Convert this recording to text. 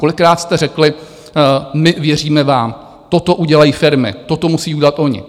Kolikrát jste řekli - my věříme vám, toto udělají firmy, toto musí udělat oni.